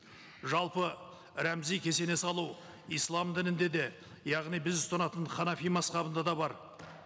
жалпы рәмізи кесене салу ислам дінінде де яғни біз ұстанатын ханафи мазһабында да бар